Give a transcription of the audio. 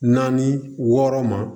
Naani wɔɔrɔ ma